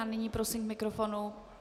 A nyní prosím k mikrofonu...